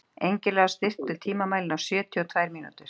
Engilráð, stilltu tímamælinn á sjötíu og tvær mínútur.